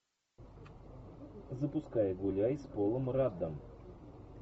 запускай гуляй с полом раддом